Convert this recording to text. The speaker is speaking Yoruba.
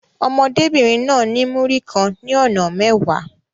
Ọmọdébìnrin náà ní Múrí kan ní ọ̀nà mẹ́wàá.